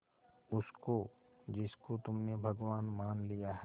उसको जिसको तुमने भगवान मान लिया है